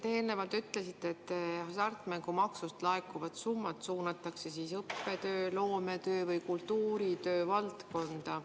Te eelnevalt ütlesite, et hasartmängumaksust laekuvad summad suunatakse õppetöö, loometöö või kultuuritöö valdkonda.